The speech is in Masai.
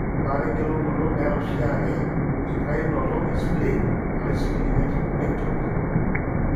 Ore embaata engelunoto nera oshiake enkitainoto espleen (splenectomy).